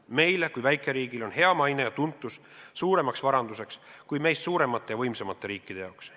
" Meie kui väikeriigi jaoks on hea maine ja tuntus suurem varandus kui meist suuremate ja võimsamate riikide jaoks.